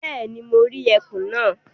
Bẹ́ẹ̀ni, mo rí ẹkùn náà.